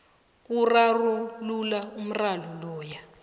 kurarulula umraro loyo